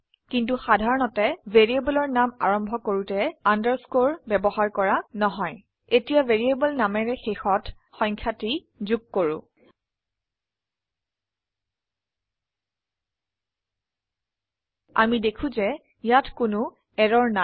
কিন্তু সাধাৰণতে ভ্যাৰৰয়েবলৰ নাম আৰম্ভ কৰোতে আন্ডাৰস্কোৰ ব্যবহাৰ কৰা নহয় এতিয়া ভ্যাৰিয়েবল নামেৰ শেষত থে নাম্বাৰ সংখ্যাটি যোগ কৰো আমি দেখো যে ইয়াত কোনো এৰৰ নেই